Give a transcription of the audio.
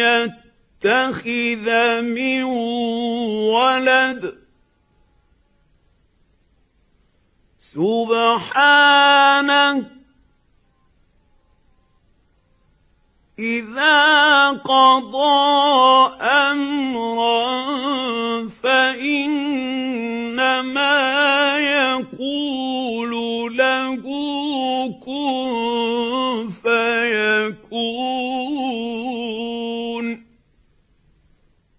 يَتَّخِذَ مِن وَلَدٍ ۖ سُبْحَانَهُ ۚ إِذَا قَضَىٰ أَمْرًا فَإِنَّمَا يَقُولُ لَهُ كُن فَيَكُونُ